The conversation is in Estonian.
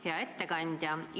Hea ettekandja!